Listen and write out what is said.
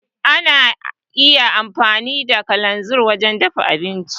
Ana iya amfani da kalanzir wajen dafa abinci.